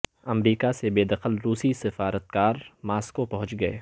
امریکہ سے بے دخل روسی سفارتکار ماسکو پہنچ گئے